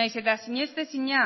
nahiz eta sinestezina